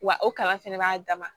Wa o kala fɛnɛ b'a dama